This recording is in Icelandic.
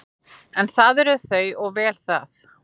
En það eru þau og vel það.